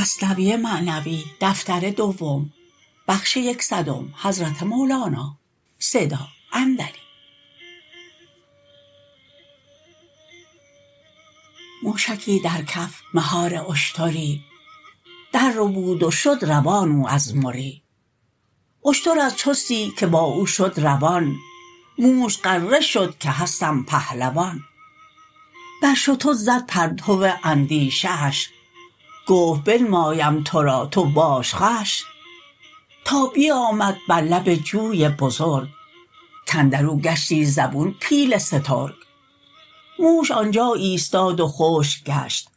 موشکی در کف مهار اشتری در ربود و شد روان او از مری اشتر از چستی که با او شد روان موش غره شد که هستم پهلوان بر شتر زد پرتو اندیشه اش گفت بنمایم تو را تو باش خوش تا بیامد بر لب جوی بزرگ کاندرو گشتی زبون پیل سترگ موش آنجا ایستاد و خشک گشت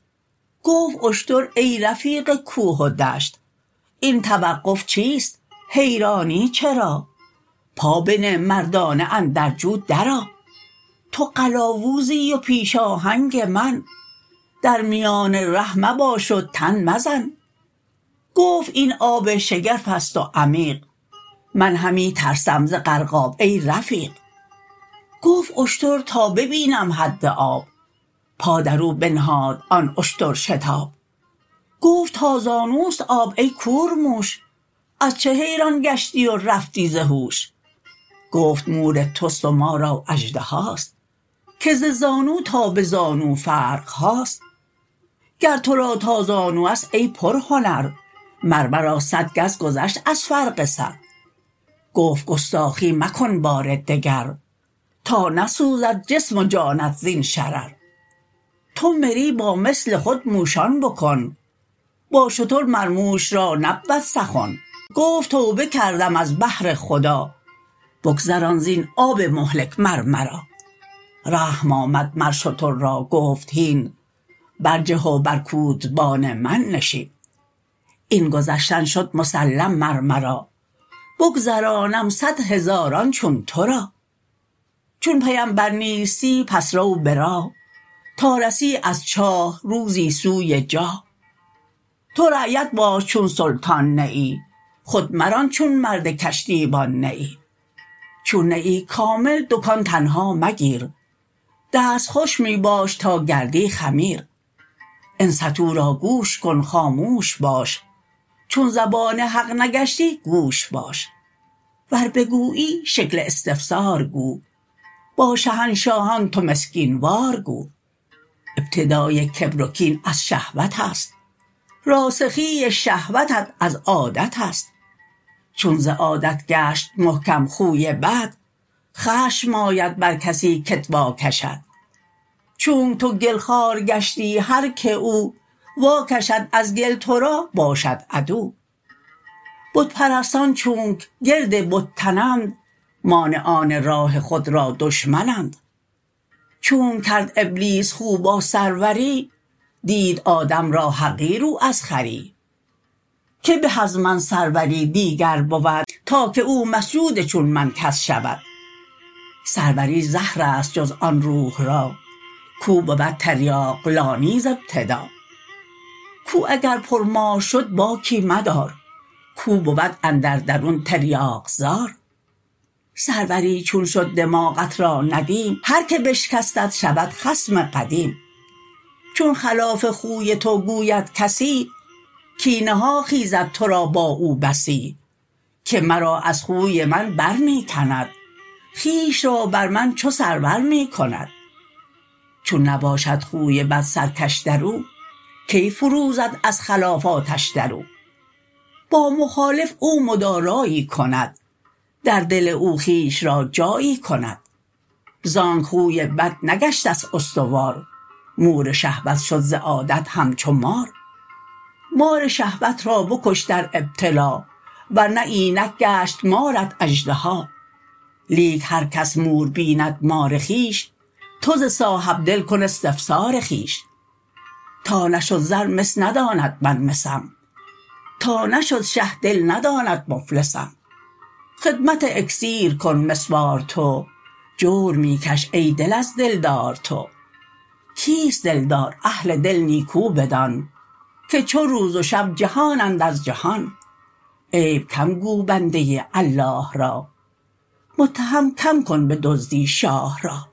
گفت اشتر ای رفیق کوه و دشت این توقف چیست حیرانی چرا پا بنه مردانه اندر جو در آ تو قلاوزی و پیش آهنگ من درمیان ره مباش و تن مزن گفت این آب شگرفست و عمیق من همی ترسم ز غرقاب ای رفیق گفت اشتر تا ببینم حد آب پا درو بنهاد آن اشتر شتاب گفت تا زانوست آب ای کورموش از چه حیران گشتی و رفتی ز هوش گفت مور تست و ما را اژدهاست که ز زانو تا به زانو فرقهاست گر تو را تا زانو است ای پر هنر مر مرا صد گز گذشت از فرق سر گفت گستاخی مکن بار دگر تا نسوزد جسم و جانت زین شرر تو مری با مثل خود موشان بکن با شتر مر موش را نبود سخن گفت توبه کردم از بهر خدا بگذران زین آب مهلک مر مرا رحم آمد مر شتر را گفت هین برجه و بر کودبان من نشین این گذشتن شد مسلم مر مرا بگذرانم صد هزاران چون تو را چون پیمبر نیستی پس رو به راه تا رسی از چاه روزی سوی جاه تو رعیت باش چون سلطان نه ای خود مران چون مرد کشتیبان نه ای چون نه ای کامل دکان تنها مگیر دست خوش می باش تا گردی خمیر انصتوا را گوش کن خاموش باش چون زبان حق نگشتی گوش باش ور بگویی شکل استفسار گو با شهنشاهان تو مسکین وار گو ابتدای کبر و کین از شهوت است راسخی شهوتت از عادت است چون ز عادت گشت محکم خوی بد خشم آید بر کسی که ت واکشد چونک تو گل خوار گشتی هر که او واکشد از گل تو را باشد عدو بت پرستان چونک گرد بت تنند مانعان راه خود را دشمن اند چونک کرد ابلیس خو با سروری دید آدم را حقیر او از خری که به از من سروری دیگر بود تا که او مسجود چون من کس شود سروری زهرست جز آن روح را کاو بود تریاق لانی ز ابتدا کوه اگر پر مار شد باکی مدار کاو بود اندر درون تریاق زار سروری چون شد دماغت را ندیم هر که بشکستت شود خصم قدیم چون خلاف خوی تو گوید کسی کینه ها خیزد تو را با او بسی که مرا از خوی من بر می کند خویش را بر من چو سرور می کند چون نباشد خوی بد سرکش درو کی فروزد از خلاف آتش درو با مخالف او مدارایی کند در دل او خویش را جایی کند زانک خوی بد نگشته ست استوار مور شهوت شد ز عادت همچو مار مار شهوت را بکش در ابتلا ورنه اینک گشت مارت اژدها لیک هر کس مور بیند مار خویش تو ز صاحب دل کن استفسار خویش تا نشد زر مس نداند من مسم تا نشد شه دل نداند مفلسم خدمت اکسیر کن مس وار تو جور می کش ای دل از دلدار تو کیست دلدار اهل دل نیکو بدان که چو روز و شب جهانند از جهان عیب کم گو بنده الله را متهم کم کن به دزدی شاه را